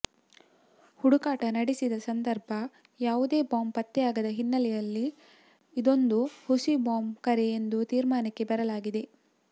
ಹುಡುಕಾಟ ನಡೆಸಿದ ಸಂದರ್ಭ ಯಾವುದೇ ಬಾಂಬ್ ಪತ್ತೆಯಾಗದ ಹಿನ್ನೆಲೆಯಲ್ಲಿ ಇದೊಂದು ಹುಸಿ ಬಾಂಬ್ ಕರೆ ಎಂದು ತೀರ್ಮಾನಕ್ಕೆ ಬರಲಾಗಿದೆ